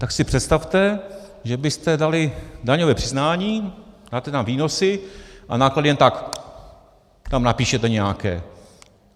Tak si představte, že byste dali daňové přiznání, máte tam výnosy a náklady jen tak tam napíšete nějaké.